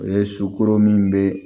O ye sukoro min bɛ